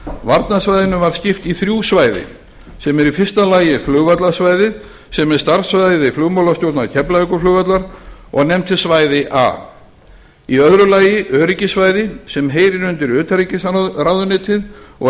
varnarsvæðinu var skipt í þrjú svæði sem eru í fyrsta lagi flugvallarsvæðið sem er starfssvæði flugmálastjórnar keflavíkurflugvallar og nefnt er svæði a í öðru lagi öryggissvæði sem heyrir undir utanríkisráðuneytið og